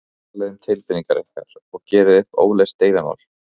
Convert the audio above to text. Talið um tilfinningar ykkar og gerið upp óleyst deilumál.